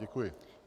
Děkuji.